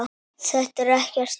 Þetta er ekkert nýtt.